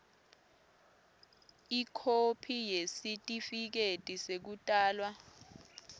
ikhophi yesitifiketi sekutalwa